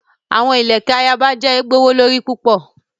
The queens beads are very expensive.